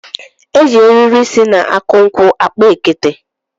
E ji eriri si na akụ nkwụ akpa ekete